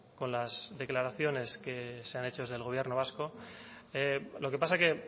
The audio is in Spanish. con las declaraciones que se han hecho desde el gobierno vasco lo que pasa que